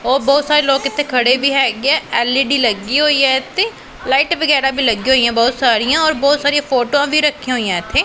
ਉਹ ਬਹੁਤ ਸਾਰੇ ਲੋਕ ਇੱਥੇ ਖੜੇ ਵੀ ਹੈਗੇ ਆ ਐਲ_ਈ_ਡੀ ਲੱਗੀ ਹੋਈ ਐ ਤੇ ਲਾਈਟ ਵਗੈਰਾ ਵੀ ਲੱਗੀ ਹੋਈਆਂ ਬਹੁਤ ਸਾਰੀਆਂ ਔਰ ਬਹੁਤ ਸਾਰੀਆਂ ਫੋਟੋਆਂ ਵੀ ਰੱਖੀਆਂ ਹੋਈਐਂ ਇੱਥੇ।